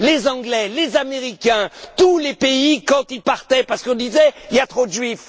Les Anglais, les Américains, tous les pays, quand ils partaient, parce qu'on disait qu'il y avait trop de Juifs.